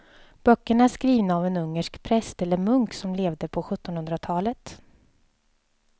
Böckerna är skrivna av en ungersk präst eller munk som levde på sjuttonhundratalet.